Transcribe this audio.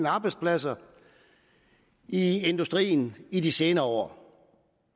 arbejdspladser i industrien i de senere år